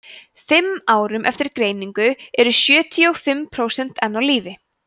fimm árum eftir greiningu eru sjötíu og fimm prósent enn á lífi